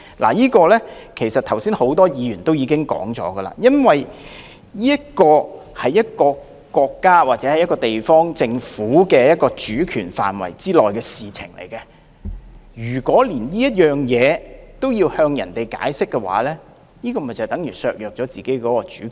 關於這一點，剛才很多議員已經說明，這是因為簽發工作簽證屬於地方政府的主權範圍，如果連這件事也要向外國解釋，就等於削弱自己的主權。